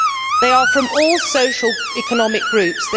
They are from all socio economic groups.